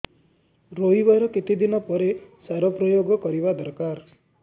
ରୋଈବା ର କେତେ ଦିନ ପରେ ସାର ପ୍ରୋୟାଗ କରିବା ଦରକାର